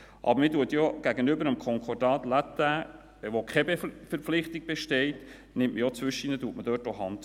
Aber man bietet ja gegenüber dem Concordat latin, wo keine Verpflichtung besteht, zwischendurch auch die Hand.